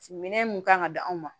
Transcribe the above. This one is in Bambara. Minɛn mun kan ka di anw ma